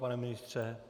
Pane ministře?